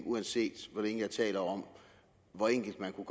uanset hvor længe jeg taler om hvor enkelt man kunne